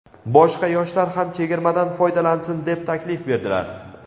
boshqa yoshlar ham chegirmadan foydalansin deb taklif berdilar.